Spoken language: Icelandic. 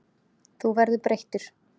Þú verður breyttur.